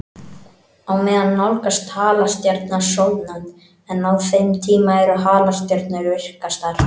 Á meðan nálgast halastjarnan sólnánd, en á þeim tíma eru halastjörnur virkastar.